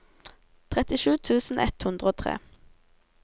trettisju tusen ett hundre og tre